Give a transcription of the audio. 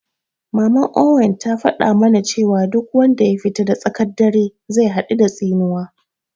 Maman Owen ta faɗa ma na cewa duk wanda ya fita da tsaƙan dare zai haɗu da tsinuwa